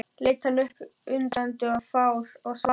Hann leit upp undrandi og fár og svaraði ekki.